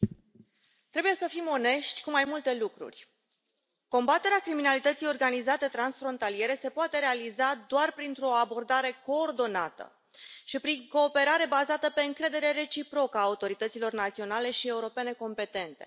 Doamnă președintă, trebuie să fim onești cu mai multe lucruri. Combaterea criminalității organizate transfrontaliere se poate realiza doar printr o abordare coordonată și prin cooperare bazată pe încredere reciprocă a autorităților naționale și europene competente.